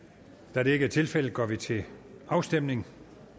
da det ikke er tilfældet går vi til afstemning